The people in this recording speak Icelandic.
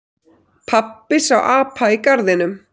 Pabbi sá apa í garðinum.